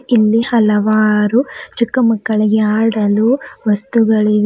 ಇಲ್ಲಿ ಹಲವಾರು ಚಿಕ್ಕ ಮಕ್ಕಳಿಗೆ ಆಡಲು ವಸ್ತುಗಳಿವೆ.